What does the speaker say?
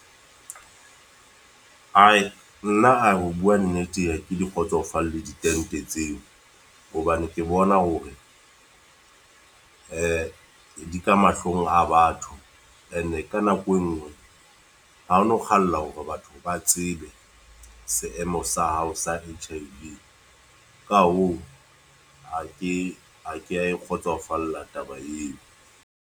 Ae, nna ha ho bua nnete hake ke di kgotsofalle ditente tseo. Hobane ke bona hore di ka mahlong a batho. E ne ka nako e nngwe, ha o no kgalla hore batho ba tsebe seemo sa hao sa H_I_V. Ka hoo, ha ke a ke a e kgotsofalla taba eo.